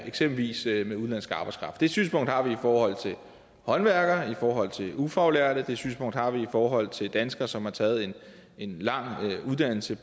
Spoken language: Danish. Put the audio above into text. eksempelvis udenlandsk arbejdskraft det synspunkt har vi i forhold til håndværkere i forhold til ufaglærte og det synspunkt har vi i forhold til danskere som har taget en lang uddannelse